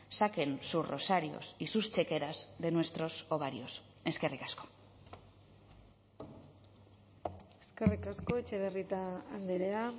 saquen sus rosarios y sus chequeras de nuestros ovarios eskerrik asko eskerrik asko etxebarrieta andrea